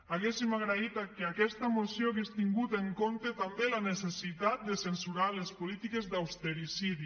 hauríem agraït que aquesta moció hagués tingut en compte també la necessitat de censurar les polítiques d’ austericidi